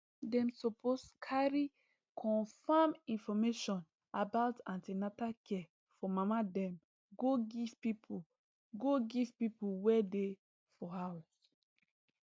dem suppose carry confam information about an ten atal care for mama dem go give people go give people wey dey for house